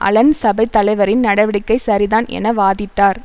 Alan சபைத் தலைவரின் நடவடிக்கை சரிதான் என வாதிட்டார்